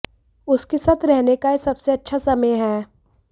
उसके साथ रहने का यह सबसे अच्छा समय है